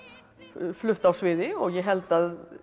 flutt á sviði ég held að